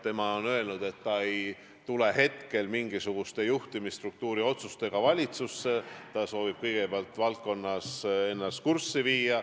Ta on öelnud, et ta ei tule esialgu mingisuguste juhtimisstruktuuri otsustega valitsusse, ta soovib kõigepealt ennast valdkonnas toimuvaga kurssi viia.